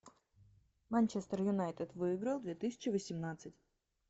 манчестер юнайтед выиграл две тысячи восемнадцать